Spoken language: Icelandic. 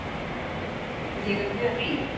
Ég er mjög rík